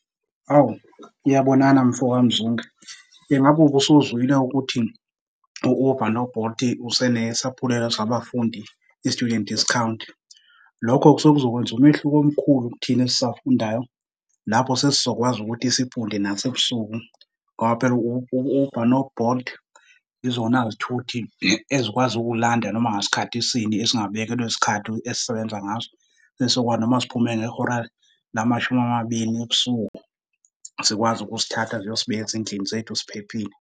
Hawu, iyabonana mfo kaMzunge. Ingabe ubusuzwile ukuthi u-Uber no-Bolt usenesaphulelo sabafundi, i-student discount? Lokho sekuzokwenza umehluko omkhulu kuthina esisafundayo. Lapho sesizokwazi ukuthi sifunde nasebusuku ngoba phela u-Uber no-Bolt izona zithuthi ezikwazi ukukulanda noma ngasikhathi sini esingabekelwe sikhathi esisebenza ngaso, esizokwazi noma siphume ngehora lamashumi amabili ebusuku zikwazi ukusithatha ziyosibeka ezindlini zethu siphephile.